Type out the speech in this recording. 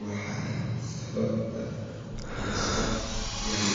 waxaa sababte fursad yari